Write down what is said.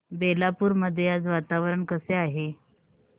बेलापुर मध्ये आज वातावरण कसे आहे